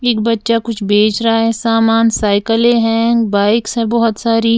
एक बच्चा कुछ बेच रहा है सामान साइकिले हैं बाइक्स हैं बहोत सारी।